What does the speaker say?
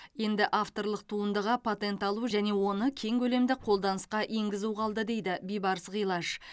енді авторлық туындыға патент алу және оны кең көлемді қолданысқа енгізу қалды дейді бибарыс ғилаж